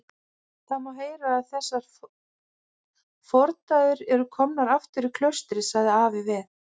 Það má heyra að þessar fordæður eru komnar aftur í klaustrið, sagði afi við